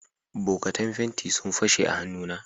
bokatan fenti sun fashe a hannu na